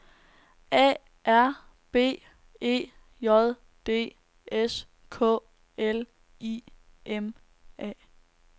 A R B E J D S K L I M A